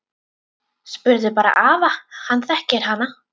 Spurðu bara afa, hann þekkir hana!